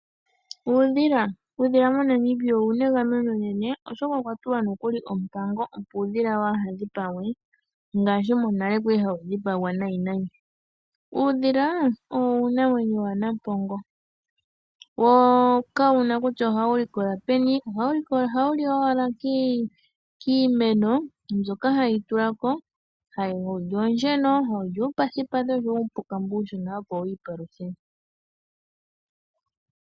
Uudhila Uudhila moNamibia owu na egameno enene, oshoka okwa tulwa nokuli ompango, opo uudhila waa ha dhipagwe ngaashi monale wa li hawu dhipagwa nayi nayi. Uudhila owo uunamwenyo waNampongo. Wo kawu na kutya ohawu likola peni. Ohawu li owala kiimeno mbyoka hayi tula ko. Hawu li oonsheno, hawu li uupathipathi osho wo uupuka mbu uushona, opo wi ipaluthe.